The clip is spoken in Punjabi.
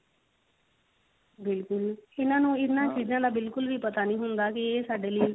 ਬਿਲਕੁਲ ਇਹਨਾਂ ਨੂੰ ਇਹਨਾ ਚੀਜ਼ਾਂ ਦਾ ਬਿਲਕੁਲ ਵੀ ਪਤਾ ਨਹੀ ਹੁੰਦਾ ਕਿ ਇਹ ਸਾਡੇ ਲਈ